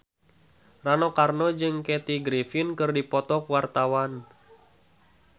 Rano Karno jeung Kathy Griffin keur dipoto ku wartawan